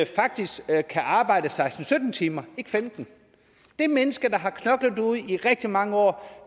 faktisk kan arbejde seksten til sytten timer ikke 15 det menneske der har knoklet derude i rigtig mange år